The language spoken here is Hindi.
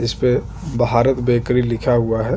इस पे भारत बेकरी लिखा हुआ है।